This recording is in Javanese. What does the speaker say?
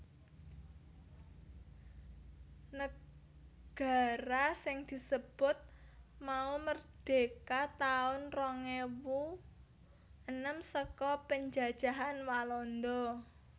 Negara sing disebut mau merdeka taun rong ewu enem saka penjajahan Walanda